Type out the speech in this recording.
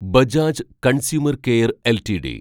Bajaj consumer care LTD